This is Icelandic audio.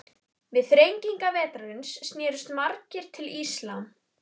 Við þrengingar vetrarins snerust margir til íslam.